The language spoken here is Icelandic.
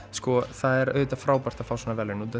það er auðvitað frábært að fá svona verðlaun